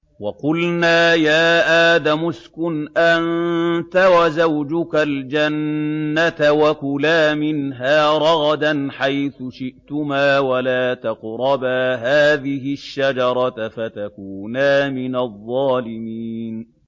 وَقُلْنَا يَا آدَمُ اسْكُنْ أَنتَ وَزَوْجُكَ الْجَنَّةَ وَكُلَا مِنْهَا رَغَدًا حَيْثُ شِئْتُمَا وَلَا تَقْرَبَا هَٰذِهِ الشَّجَرَةَ فَتَكُونَا مِنَ الظَّالِمِينَ